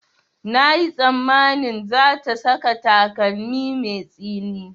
Na yi tsammanin za ta saka takalmi mai tsini